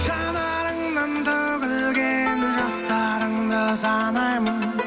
жанарыңнан төгілген жастарыңды санаймын